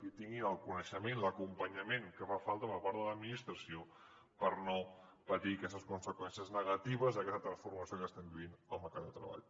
i que tinguin el coneixement i l’acompanyament que fa falta per part de l’administració per no patir aquestes conseqüències negatives d’aquesta transformació que estem vivint al mercat de treball